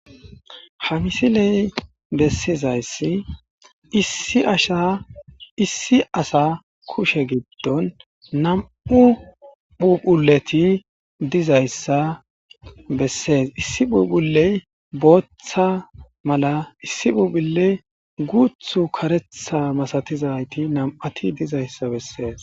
hamisiley bessizayssi issi asha issi asa kushe giddon nam7u phuphuleti dizayssa bessees issi puphuley booththa mala issi phuphulle guuthu karetha masatizayti nam7ati dizayssa bessees